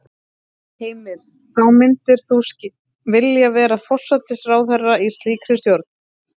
Heimir: Þá myndir þú vilja vera forsætisráðherra í slíkri stjórn?